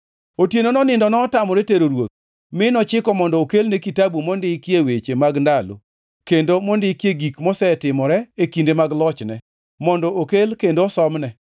Otienono nindo notamore tero ruoth; mi nochiko mondo okelne Kitabu mondikie weche mag ndalo, kendo mondikie gik mosetimore e kinde mag lochne, mondo okel kendo osomne.